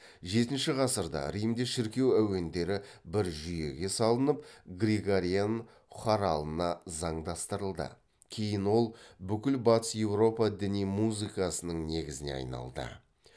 жетінші ғасырда римде шіркеу әуендері бір жүйеге салынып григориан хоралына заңдастырылды кейін ол бүкіл батыс еуропа діни музыкасының негізіне айналды